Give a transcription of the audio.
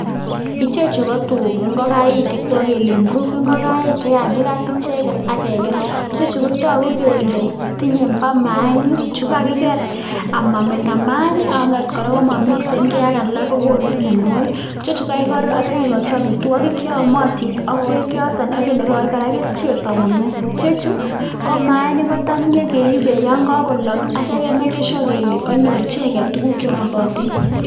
Ichechu ko ngokaik chetogu kole improved, chekakirat icheget akeker ,togu kele bo mainik chu kakiker amometo mainik ak komomikisen kei ak alak asimoko mianwogik. Ichechu kokakiker akikochi amitwogik cheyomotin ak beek akinokoi kora kerichek amomyoso, ichechu ko mainik kotam nyokeibe yon kakolok ake maken sure kole kanyor tuguk cheyomotin.